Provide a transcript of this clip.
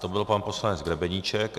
To byl pan poslanec Grebeníček.